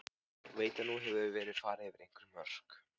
Veit að nú hefur verið farið yfir einhver mörk.